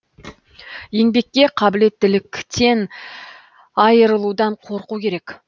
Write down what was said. еңбекке қабілеттіліктен айырылудан қорқу керек